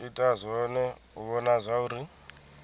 ita zwone u vhona zwauri